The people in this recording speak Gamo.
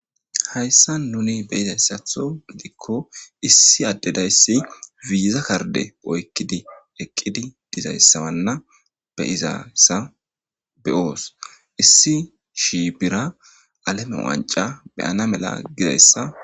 hayssa nuni beyizayssatho gidikko issi addedayssi ziiza karde oykkidi eqqidi dizayssawanna beyizayssa be7oos issi shi bira aleme wanca beyana mela gizayssa